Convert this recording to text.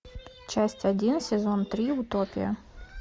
часть один сезон три утопия